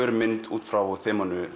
út frá